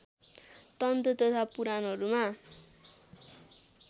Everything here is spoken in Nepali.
तन्त्र तथा पुराणहरूमा